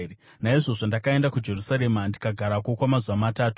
Naizvozvo ndakaenda kuJerusarema ndikagarako kwamazuva matatu.